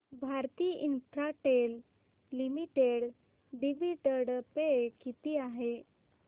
Bharti Infratel limited dividend pay किती आहे